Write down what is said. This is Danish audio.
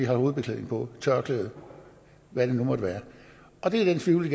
har hovedbeklædning på tørklæde eller hvad det nu måtte være og det er den tvivl vi